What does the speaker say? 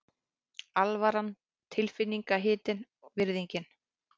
Alvaran tilfinningahitinn, virðingin.